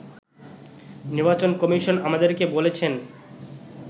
“নির্বাচন কমিশন আমাদেরকে বলেছেন